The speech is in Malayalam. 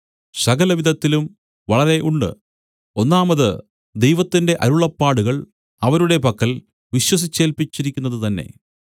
സകലവിധത്തിലും വളരെ ഉണ്ട് ഒന്നാമത് ദൈവത്തിന്റെ അരുളപ്പാടുകൾ അവരുടെ പക്കൽ വിശ്വസിച്ചേൽപ്പിച്ചിരിക്കുന്നതു തന്നേ